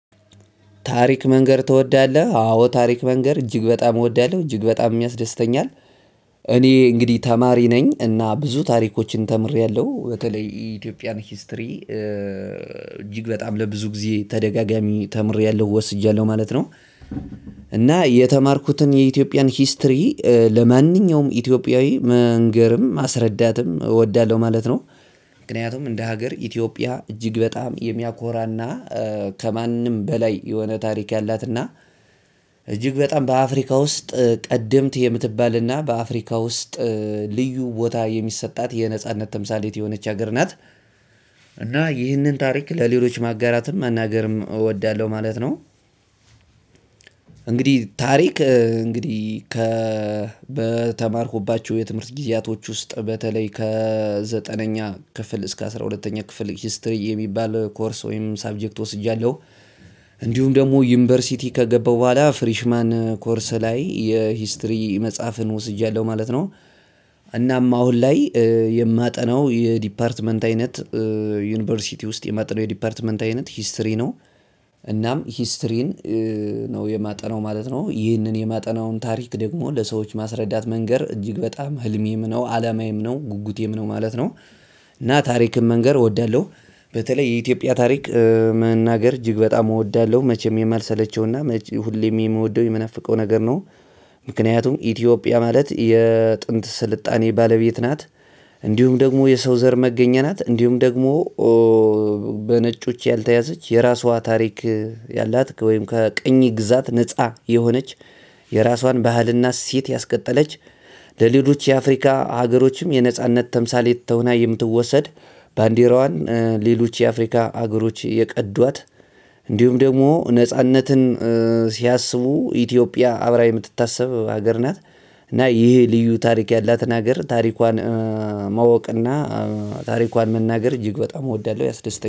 ታሪክ መንገር ትወዳለህ አዎ ታሪክ መንገር እጅግ በጣም እወዳለሁ እጅግ በጣም ያስደስተኛል። እኔ እንግዲህ ተማሪ ነኝ እና ብዙ ታሪኮችን ተምሬያለሁ በተለይ ኢትዮጵያን ሂስትሪ እጅግ በጣም ለብዙ ጊዜ ተደጋጋሚ ተምሬያለሁ ወስጃለሁ ማለት ነው። እና የተማርኩትን የኢትዮጵያን ሂስትሪ ለማንኛውም ኢትዮጵያዊ መንገርም ማስረዳትም እወዳለሁ ማለት ነው። ምክንያቱም እንደ ሀገር ኢትዮጵያ እጅግ በጣም የሚያኮራና ከማንም በላይ የሆነ ታሪክ ያላትና እጅግ በጣም በአፍሪካ ውስጥ ቀደምት የምትባል እና በአፍሪካ ውስጥ ልዩ ቦታ የሚሰጣት የነጻነት ተምሳሌት የሆነች ሀገር ናት። እና ይህንን ታሪክ ለሌሎች ማጋራትም መናገርም እወዳለሁ ማለት ነው። እንግዲህ ታሪክ እንግዲህ ከበተማርኩባቸው የትምህርት ጊዜያቶች ውስጥ በተለይ ከዘጠነኛ ክፍል እስከ አስራ ሁለተኛ ክፍል ሂስትሪ የሚባል ኮርስ ወይም ሳብጀክት ወስጃለሁ። እንዲሁም ደግሞ ዩኒቨርሲቲ ከገባው በኋላ ፍሬሽማን ኮርስ ላይ የሂስትሪ መጽሐፍን ወስጃለሁ ማለት ነው። እናም አሁን ላይ የማጠናው የዲፓርትመንት አይነት ዩኒቨርሲቲ ውስጥ የማጠናው የዲፓርትመንት አይነት ሂስትሪ ነው። እናም ሂስትሪን ነው የማጠናው ማለት ነው ይህንን የማጠናውን ታሪክ ደግሞ ለሰዎች ማስረዳት መንገር እጅግ በጣም ህልሜም ነው አላማዬም ነው ጉጉቴም ነው ማለት ነው። እና ታሪክን መንገር እወዳለሁ። በተለይ የኢትዮጵያ ታሪክ መናገር እጅግ በጣም እወዳለሁ መቼም የማልሰለቸውና ሁሌም የምወደው የምናፍቀው ነገር ነው። ምክንያቱም ኢትዮጵያ ማለት የጥንት ስልጣኔ ባለቤት ናት። እንዲሁም ደግሞ የሰው ዘር መገኛ ናት እንዲሁም ደግሞ በነጮች ያልተያዘች የራሷ ታሪክ ያላት ወይም ከቀኝ ግዛት ነፃ የሆነች የራሷን ባህልና እሴት ያስቀጠለች ለሌሎች የአፍሪካ ሀገሮችም የነጻነት ተምሳሌት ሆና የምትወሰድ ባንዲራዋን ሌሎች የአፍሪካ አገሮች የቀዷት እንዲሁም ደግሞ ነጻነትን ሲያስቡ ኢትዮጵያ አብራ የምትታሰብ ሀገር ናት። እና ይሄ ልዩ ታሪክ ያላትን ሀገር ታሪኳን ማወቅ እና ታሪኳን መናገር እጅግ በጣም እወዳለሁ ያስደስተኛል